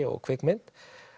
og kvikmynd